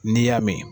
N'i y'a mɛn